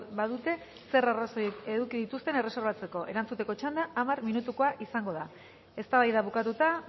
badute zer arrazoi eduki dituzten erreserbatzeko erantzuteko txanda hamar minutukoa izango da eztabaida bukatuta